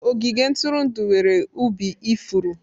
Ogige ntụrụndụ nwere ubi ifuru.